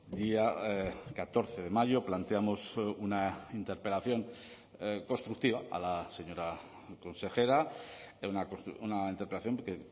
día catorce de mayo planteamos una interpelación constructiva a la señora consejera una interpelación que